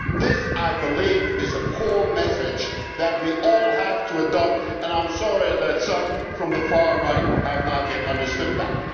This, I believe, is a core message that we all have to adopt, and I am sorry that some from the far right have not yet understood that.